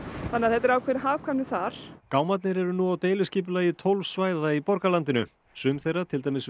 þannig að þetta er ákveðið hagkvæmi þar gámarnir eru nú á deiliskipulagi tólf svæða í borgarlandinu sum þeirra til dæmis við